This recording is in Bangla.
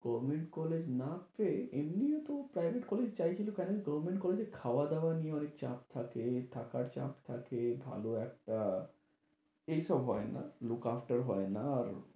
government college না আসতে এমনিও তো ও private college ই চাইছিল কারণ government college এ খাওয়া-দাওয়া নিয়ে অনেক চাপ থাকে, থাকার চাপ থাকে, ভালো একটা এইসব হয় না, look after হয় না। আর